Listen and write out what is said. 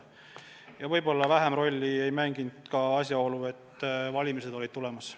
Ja võib-olla vähem rolli ei mänginud asjaolu, et valimised olid tulemas.